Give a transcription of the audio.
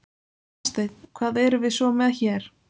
Hafsteinn: Hvað erum við svo með hér?